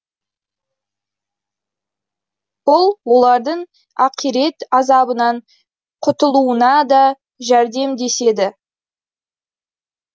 бұл олардың ақирет азабынан құтылуына да жәрдемдеседі